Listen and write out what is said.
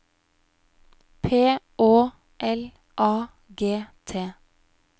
P Å L A G T